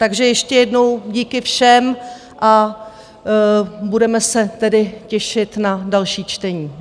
Takže ještě jednou - díky všem a budeme se tedy těšit na další čtení.